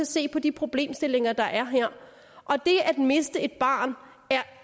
se på de problemstillinger der er her og det at miste et barn